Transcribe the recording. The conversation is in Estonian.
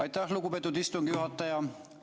Aitäh, lugupeetud istungi juhataja!